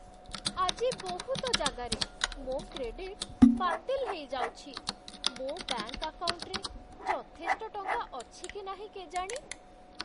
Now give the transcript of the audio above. ଆଜି ବହୁତ ଜାଗାରେ ମୋ' କ୍ରେଡିଟ୍ ବାତିଲ୍ ହେଇ ଯାଉଛି । ମୋ ବ୍ୟାଙ୍କ୍ ଆକାଉଣ୍ଟରେ ଯଥେଷ୍ଟ ଟଙ୍କା ଅଛି କି ନାହିଁ କେଜାଣି ।